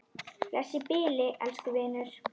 Bless í bili, elsku vinur.